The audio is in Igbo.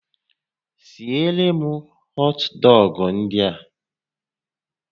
Siere m họt dọgụ ndị a!